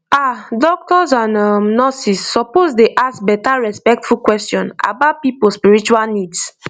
ah doctors and um nurses suppose dey ask better respectful question about people spiritual needs